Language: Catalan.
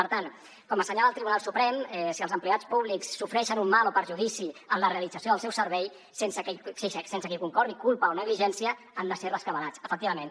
per tant com assenyala el tribunal suprem si els empleats públics sofreixen un mal o perjudici en la realització del seu servei sense que hi concorri culpa o negligència han de ser rescabalats efectivament